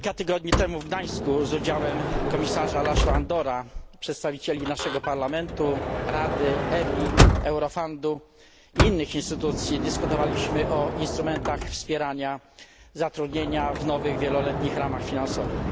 Kilka tygodni temu w Gdańsku z udziałem komisarza László Andora, przedstawicieli naszego parlamentu, Rady, EBI, Eurofundu i innych instytucji dyskutowaliśmy o instrumentach wspierania zatrudnienia w nowych wieloletnich ramach finansowych.